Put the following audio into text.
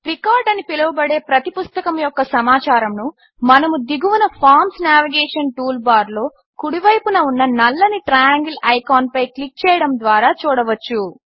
record అని కూడా పిలువబడే ప్రతి పుస్తకము యొక్క సమాచారమును మనము దిగువన ఫార్మ్స్ నేవిగేషన్ టూల్బార్లో కుడి వైపున ఉన్న నల్లని ట్రయాంగిల్ ఐకాన్పై క్లిక్ చేయడము ద్వారా చూడవచ్చు